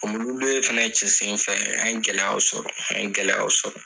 Ɔ muluw le fɛnɛ cɛsen fɛ an ye gɛlɛyaw sɔrɔ an ye gɛlɛyaw sɔrɔ